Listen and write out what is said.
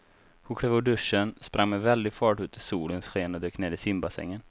Hon klev ur duschen, sprang med väldig fart ut i solens sken och dök ner i simbassängen.